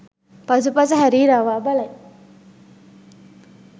පසුපස හැරී රවා බලයි.